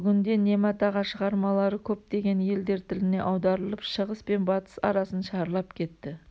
бүгінде немат аға шығармалары көптеген елдер тіліне аударылып шығыс пен батыс арасын шарлап кетті